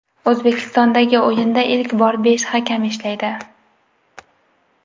O‘zbekistondagi o‘yinda ilk bor besh hakam ishlaydi.